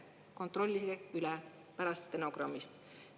Kontrollige pärast stenogrammist üle.